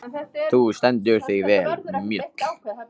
Þú stendur þig vel, Mjöll!